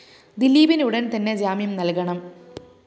ദിലീപിന് ഉടന്‍ തന്നെ ജാമ്യം നല്‍കണം